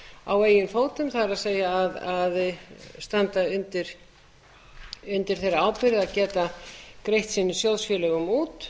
á eigin fótum það er að standa undir þeirri ábyrgð að geta greitt sínum sjóðfélögum út